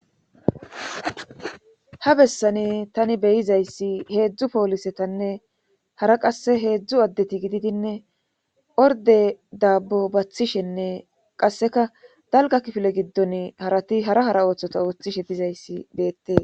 ha bessani tani beyizayssi heedzdzu poolisetanne hara qasse heedzdzu addeti gididinne orde daabbo bathishenne qasseka dalga kifile giddon harati hara hara ooththota ooththishe dizayssi beette